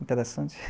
Interessante.